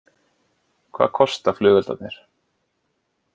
Hvað kosta flugeldarnir